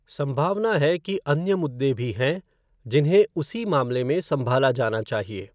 संभावना है कि अन्य मुद्दे भी हैं जिन्हें उसी मामले में संभाला जाना चाहिए।